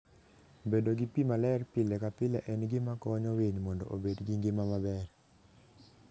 Bedo gi pi maler pile ka pile en gima konyo winy mondo obed gi ngima maber.